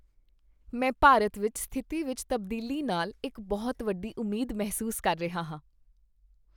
ਮੈਂ ਭਾਰਤ ਵਿੱਚ ਸਥਿਤੀ ਵਿੱਚ ਤਬਦੀਲੀ ਨਾਲ ਇੱਕ ਬਹੁਤ ਵੱਡੀ ਉਮੀਦ ਮਹਿਸੂਸ ਕਰ ਰਿਹਾ ਹਾਂ।